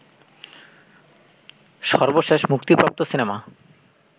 সর্বশেষ মুক্তিপ্রাপ্ত সিনেমা